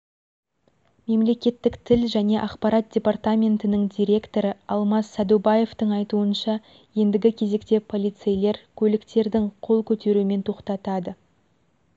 мемлекеттік тіл және ақпарат департаментінің директоры алмас сәдубаевтың айтуынша ендігі кезекте полицейлер көліктердің қол көтерумен тоқтатады